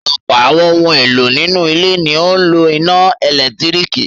Ọ̀pọ̀ àwọn ohun-èlò nínú ilé ni ó ń lo iná ẹ̀lẹ́tíríkì.